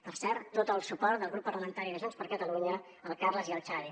per cert tot el suport del grup parlamentari de junts per catalunya a en carles i en xavi